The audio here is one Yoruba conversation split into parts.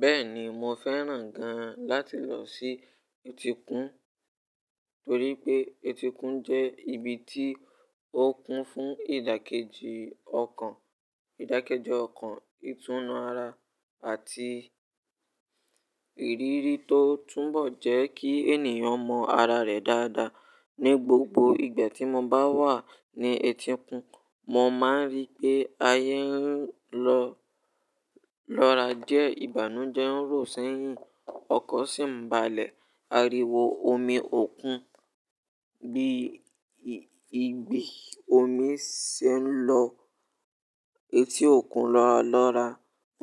Bẹ́ẹ̀ni, mo fẹ́ràn gan-an láti lọ sí etíkun, torí pé etíkun jẹ́ ibi tí ó kún fún ìdàkejì ọkàn, ìdàkejì ọkàn, ìtúnu ara àti ìrírí tó túnbọ̀ jẹ́ kí ènìyàn mọ ara rẹ̀ dáadáa. Ni gbogbo ìgbà tí mo bá wà ní etíkun, mo máa ń rí pé ayé ń lọ lọ́ra jẹ́ ìbànújẹ́ ń ró sẹ́yìn, ọkọ̀ sì ń balẹ̀, ariwo omi òkun bí, igbi omi ṣe ń lọ etí òkun lọ́ra lọ́ra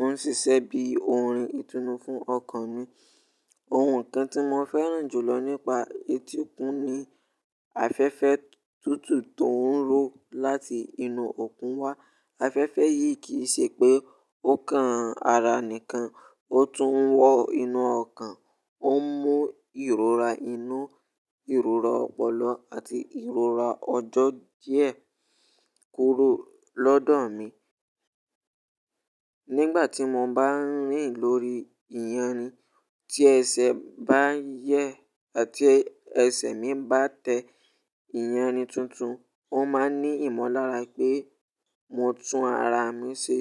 ń ṣiṣẹ́ bí orin ìtúnu fún ọkàn mi. Ohun kan tí mo fẹ́ràn jùlọ nípa etíkun ni afẹ́fẹ́ tútù tó ń ró láti inú òkun wá. Afẹ́fẹ́ yìí kì í ṣe pé ó kan ara nìkan, ó tún ń wọ inú ọkàn. Ó ń mú ìrora inú, ìrora ọpọlọ àti ìrora ọjọ́ díẹ̀ kúrò lọ́dọ̀ mi. Nígbà tí mo bá ń rìn lórí ìyànni tí ẹsẹ̀ bá yẹ́ àti ẹsẹ̀ mi bá tẹ ìyànni tuntun, ó máa ń ní ìmọ̀lára pé mo tún ara mi ṣe.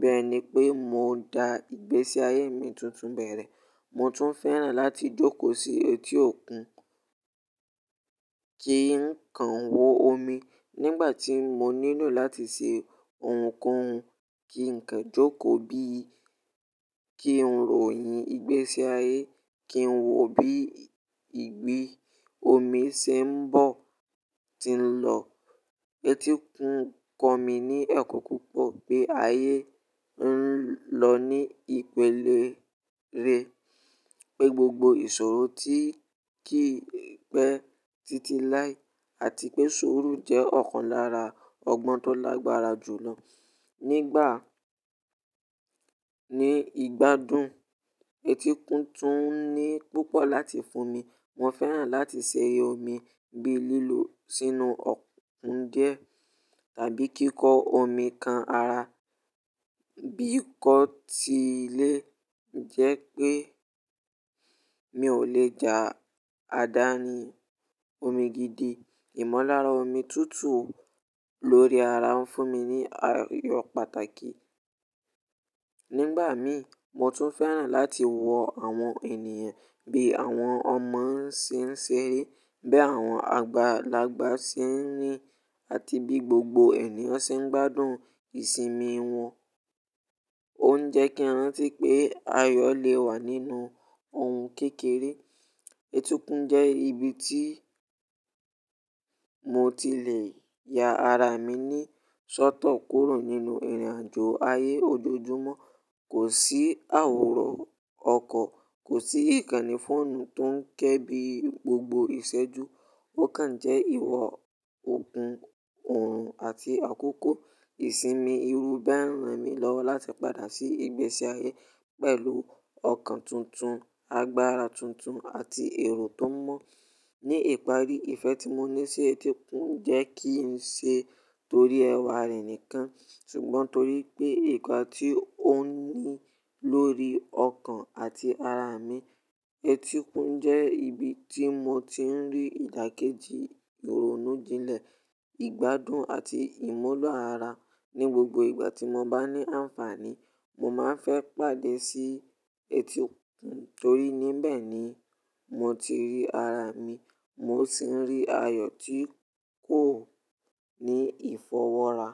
Bẹ́ẹ̀ ni pé mo da ìgbésí ayé mi tuntun bẹ̀rẹ̀. Mo tún fẹ́ràn láti jókòó sí etí òkun kí n kan wo omi nígbà tí mo nílò láti ṣe ohunkóhun, kí n kan jókòó bí, kí n ròyìn ìgbésí ayé, kí n wò bí igbi omi ṣe ń bọ̀, tí ń lọ. Etíkun kọ́ mi ní ẹ̀kọ́ púpọ̀ pé ayé ń lọ ní ìpìlẹ̀ rẹ̀, pé gbogbo ìṣòro ti kì í pẹ́ títí láì, àti pé ìṣòro jẹ́ ọ̀kan lára ọgbọ́n tó lágbára jùlọ nígbà ní ìgbádùn. Etíkun tún ní púpọ̀ láti fún mi. Mo fẹ́ràn láti ṣe omi bí lílò sínú òkun díẹ̀ tàbí kíkọ omi kan ara, bí kò tí ì lè jẹ́ pé mi ò lè ja adá ní omi gidi. Ìmọ̀lára omi tútù lórí ara ń fún mi ní ayọ̀ pàtàkì. Nígbà mí, mo tún fẹ́ràn láti wọ àwọn ènìyàn bí àwọn ọmọ ṣe ń ṣeré, bí àwọn àgbàlagbà ṣe ń rìn àti bí gbogbo ènìyàn ṣe ń gbádùn ìsinmi wọn. Ó ń jẹ́ kí a rántí pé ayọ̀ lè wà nínú ohun kékeré. Etíkun jẹ́ ibi tí mo tilẹ̀ ya ara mi ní ṣótọ̀ kúrò nínú ìrìnàjò ayé ojoojúmọ́. Kò sí àwòrán ọkọ̀, kò sí ìkànnì fóònù tó ń ké bí gbogbo ìṣẹ́jú. Ó kan jẹ́ ìwọ̀-òògun òòrùn àti àkókò ìsinmi irú bí ẹ̀ẹ̀rín mi lọ́wọ́ láti padà sí ìgbésí ayé pẹ̀lú ọkàn tuntun, agbára tuntun àti ẹrò tó mọ́. Ni ìparí, ìfẹ́ tí mo ní sí etíkun jẹ́ kí n ṣe torí ẹwà rẹ̀ nìkan, ṣùgbọ́n torí pé ìpà tí ó ní lórí ọkàn àti ara mi. Etíkun jẹ́ ibi tí mo ti ń rí ìdàkejì ìrònújìnlẹ̀, ìgbádùn àti ìmúlọ̀ ara. Ni gbogbo ìgbà tí mo bá ní àǹfààní, mo máa ń fẹ́ pàdé sí etíkun torí níbẹ̀ ni mo ti rí ara mi, mo sì ń rí ayọ̀ tí kò ní ìfọwọ́ra.